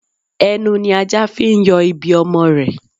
Ẹnu ni ajá fi ń yọ ibi ọmọ rẹ̀